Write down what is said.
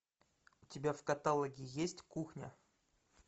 у тебя в каталоге есть кухня